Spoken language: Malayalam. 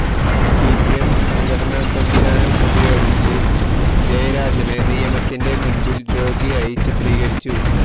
സിപിഎം സംഘടനാ സംവിധാനം ഉപയോഗിച്ച് ജയരാജനെ നിയമത്തിന്റെ മുന്പില് രോഗിയായി ചിത്രീകരിച്ചു